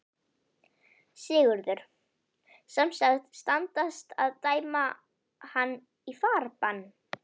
Sigurður: Sem sagt, standast að dæma hann í farbann?